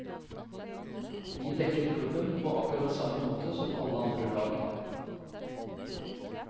Vi dekker klubben på akkurat samme måte som alle andre lag.